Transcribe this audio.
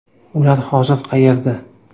Ular hozir qayerda?.